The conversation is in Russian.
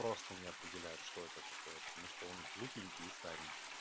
просто не определяет что это такое потому что он глупенький и старенький